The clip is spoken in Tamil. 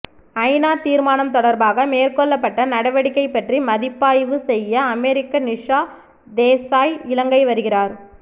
ஐநா தீர்மானம் தொடர்பாக மேற்கொள்ளப்பட்ட நடவடிக்கை பற்றி மதிப்பாய்வு செய்ய அமெரிக்க நிஷா தேசாய் இலங்கை வருகிறார்